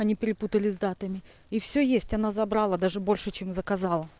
они перепутали с датами и всё есть она забрала даже больше чем заказа